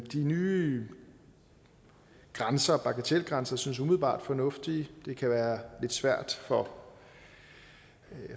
de nye grænser bagatelgrænser synes umiddelbart fornuftige det kan være lidt svært for